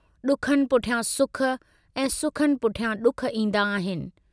डुखनि पुठियां सुख ऐं सुखनि पुठियां डुख ईन्दा आहिनि।